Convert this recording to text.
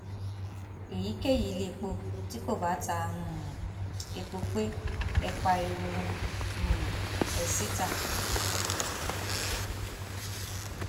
èyíkéyìí iléepo tí kò bá ta um epo pé ẹ pariwo um ẹ síta